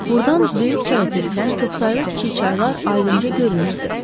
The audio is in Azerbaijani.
Burdan böyük çaya tökülən çoxsaylı kiçik çaylar aydınca görünürdü.